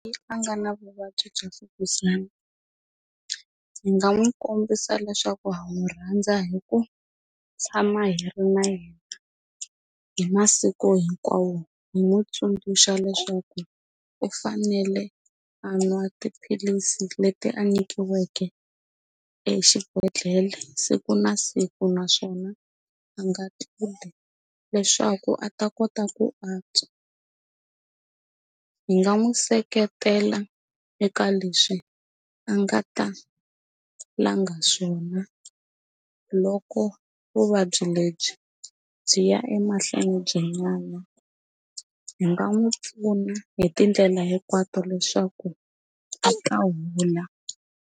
Yi a nga na vuvabyi bya mfukuzana hi nga n'wi kombisa leswaku ha n'wi rhandza hi ku tshama hi ri na yena hi masiku hinkwawo hi n'wi tsundzuxa leswaku u fanele a nwa tiphilisi leti a nyikiweke exibedhlele siku na siku naswona a nga tluli leswaku a ta kota ku antswa hi nga n'wi seketela eka leswi a nga ta langa swona loko vuvabyi lebyi byi ya emahlweni byi nyana hi nga n'wi pfuna hi tindlela hinkwato leswaku a ta hola.